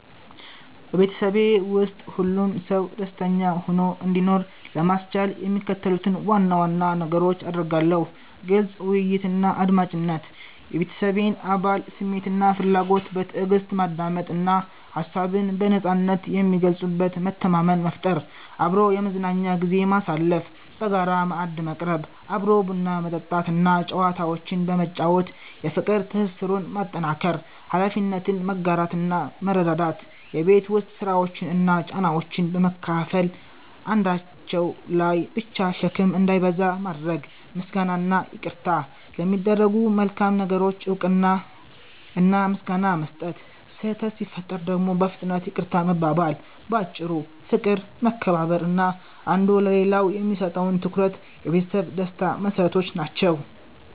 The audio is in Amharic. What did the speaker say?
በቤተሰቤ ውስጥ ሁሉም ሰው ደስተኛ ሆኖ እንዲኖር ለማስቻል የሚከተሉትን ዋና ዋና ነገሮች አደርጋለሁ፦ ግልጽ ውይይትና አድማጭነት፦ የቤተሰቤን አባላት ስሜትና ፍላጎት በትዕግስት ማዳመጥ እና ሀሳብን በነጻነት የሚገልጹበት መተማመን መፍጠር። አብሮ የመዝናኛ ጊዜ ማሳለፍ፦ በጋራ ማዕድ መቅረብ፣ አብሮ ቡና መጠጣት እና ጨዋታዎችን በመጫወት የፍቅር ትስስሩን ማጠናከር። ኃላፊነትን መጋራትና መረዳዳት፦ የቤት ውስጥ ስራዎችን እና ጫናዎችን በመካፈል አንዳቸው ላይ ብቻ ሸክም እንዳይበዛ ማድረግ። ምስጋናና ይቅርታ፦ ለሚደረጉ መልካም ነገሮች እውቅና እና ምስጋና መስጠት፣ ስህተት ሲፈጠር ደግሞ በፍጥነት ይቅርታ መባባል። ባጭሩ፦ ፍቅር፣ መከባበር እና አንዱ ለሌላው የሚሰጠው ትኩረት የቤተሰብ ደስታ መሰረቶች ናቸው።